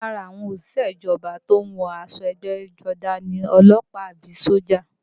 Lára àwọn òṣìṣẹ́ ìjọba tó ń wọ aṣọ ẹgbẹ́jọdá ni ọlọ́pàá àbí sójà